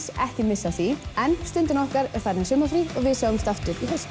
ekki missa af því en Stundin okkar er farin í sumarfrí og við sjáumst aftur í haust